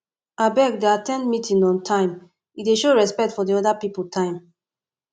abeg dey at ten d meeting on time e dey show respect for di oda pipo time